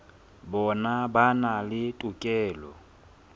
bona ba na le tokelo